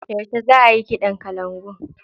Yauce za ayi kiɗan kalangun?